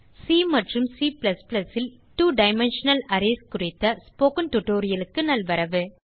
C மற்றும் C ல் two dimensional arrays குறித்த spoken tutorialக்கு நல்வரவு